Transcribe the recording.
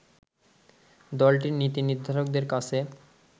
দলটির নীতি নির্ধারকদের কাছে